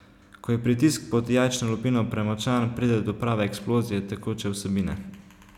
Ko je pritisk pod jajčno lupino premočan, pride do prave eksplozije tekoče vsebine.